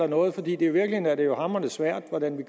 noget for i virkeligheden er det jo hamrende svært hvordan vi